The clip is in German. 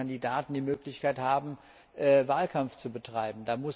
Da müssen die Kandidaten die Möglichkeit haben, Wahlkampf zu betreiben.